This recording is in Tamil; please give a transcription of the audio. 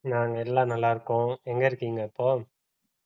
நாங்க எல்லாம் நல்லா இருக்கோம் எங்க இருக்கீங்க இப்போ